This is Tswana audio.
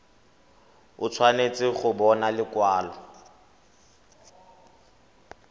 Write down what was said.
o tshwanetse go bona lekwalo